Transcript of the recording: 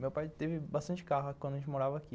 Meu pai teve bastante carro quando a gente morava aqui.